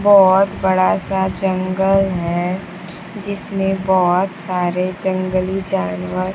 बहुत बड़ा सा जंगल है जिसमें बहुत सारे जंगली जानवर--